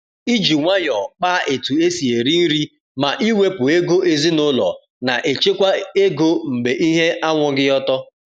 iji nwayọ kpa etu esi eri nri ma iwepu ego ezinaụlọ na echekwa ego mgbe ihe anwụghị ọtọ.